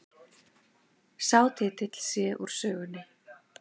Sá titill sé úr sögunni